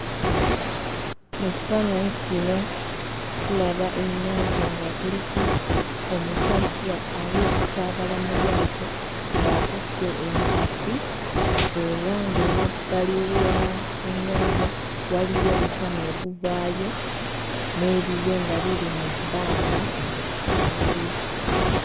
Mu kifaananyi kino tulaba ennyanja nga kuliko omusajja ali okusaabala mu lyato ng'akutte enkasi era ng'emabbali wa ennyanja waliyo omusana oguvaayo n'ebire nga biri mu bbanga waggulu.